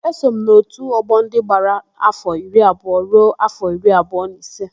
Eso m n'òtù ọgbọ ndị gbara áfọ̀ iri abụọ ruo áfọ̀ iri abụọ na ise.